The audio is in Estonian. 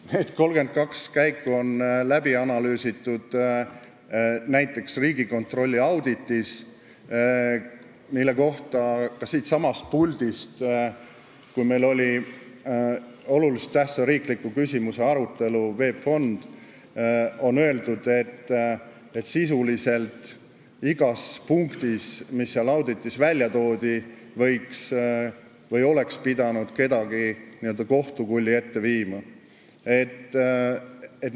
Need 32 käiku on läbi analüüsitud näiteks Riigikontrolli auditis, mille kohta öeldi ka siitsamast puldist, kui meil oli sel teemal olulise tähtsusega riikliku küsimuse arutelu, et sisuliselt igas punktis, mis seal auditis välja toodi, oleks pidanud kellegi kohtukulli ette viima.